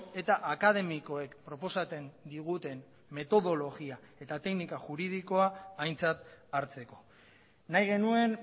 eta akademikoek proposatzen diguten metodologia eta teknika juridikoa aintzat hartzeko nahi genuen